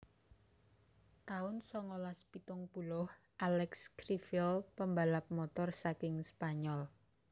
taun songolas pitung puluh Alex Criville pembalap Motor saking Spanyol